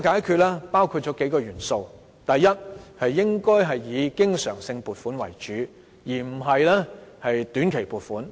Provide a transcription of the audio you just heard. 這包括數個元素，第一，應該以經常性撥款為主，而不是靠短期撥款。